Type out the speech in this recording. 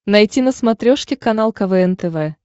найти на смотрешке канал квн тв